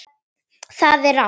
Það er rangt.